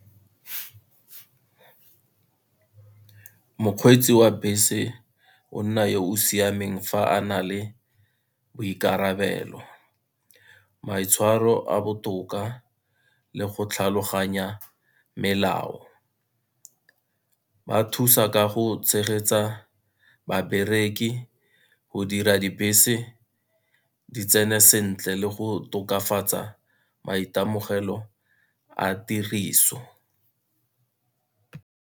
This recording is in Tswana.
Mokgweetsi wa bese o nna yo o siameng fa a na le boikarabelo, maitshwaro a botoka le go tlhaloganya melao. Ba thusa ka go tshegetsa babereki go dira dibese di tsene sentle le go tokafatsa maitemogelo a tiriso.